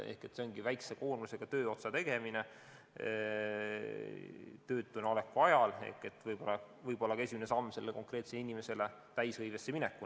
See on väikese koormusega tööotsade tegemine töötuna oleku ajal, mis võib olla konkreetse inimese esimene samm täishõivesse minekul.